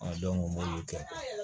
n b'olu kɛ